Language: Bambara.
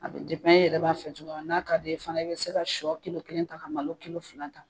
A bɛ i yɛrɛ b'a fɛ cogoya n'a ka di ye fana i bɛ se ka shɔ kelen ta ka malo fila ta.